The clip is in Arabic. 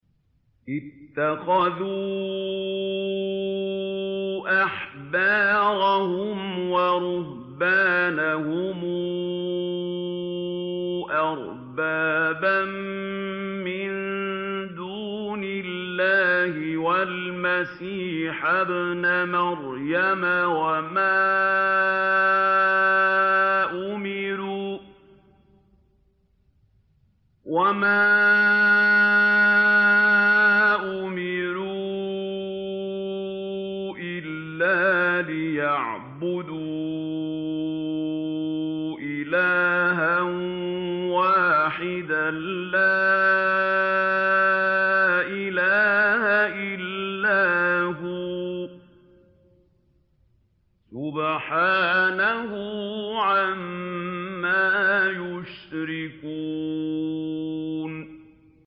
اتَّخَذُوا أَحْبَارَهُمْ وَرُهْبَانَهُمْ أَرْبَابًا مِّن دُونِ اللَّهِ وَالْمَسِيحَ ابْنَ مَرْيَمَ وَمَا أُمِرُوا إِلَّا لِيَعْبُدُوا إِلَٰهًا وَاحِدًا ۖ لَّا إِلَٰهَ إِلَّا هُوَ ۚ سُبْحَانَهُ عَمَّا يُشْرِكُونَ